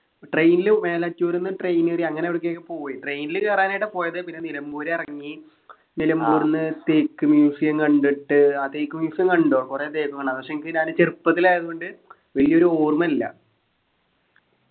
train ലു മേലാറ്റൂര്ന്ന് train കേറി അങ്ങനെ അവിട്കേക് പോയി train ല് കേറാനായിട്ടാ പോയത് പിന്നെ നിലമ്പൂരെറങ്ങി നിലംബൂര്ന്ന്തേക്ക് museum കണ്ടിട്ട് ആ തേക്ക് museum കണ്ടു കൊറേ തേക്കുകണ്ടാ പക്ഷെ എനിക്ക് ഏതാണ്ട് ചെറുപ്പത്തിലായതുകൊണ്ട് വലിയൊരു ഓർമയില്ല